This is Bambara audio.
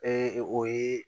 o ye